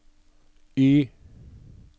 Y